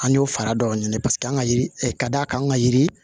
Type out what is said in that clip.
An y'o fara dɔw ɲini paseke an ka yiri ka d'a kan an ka yiri